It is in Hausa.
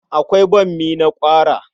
Akwai bammi na ƙwara.